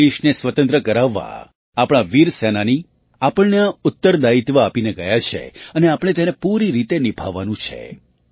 દેશને સ્વતંત્ર કરાવવા આપણા વીર સેનાની આપણને આ ઉત્તરદાયિત્વ આપીને ગયા છે અને આપણે તેને પૂરી રીતે નિભાવવાનું છે